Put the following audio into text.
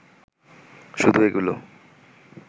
শুধু এগুলো